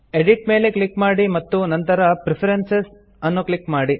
edit ಮೇಲೆ click ಮಾಡಿ ಮತ್ತು ನಂತರ ಪ್ರೆಫರೆನ್ಸಸ್ ಅನ್ನು ಕ್ಲಿಕ್ ಮಾಡಿ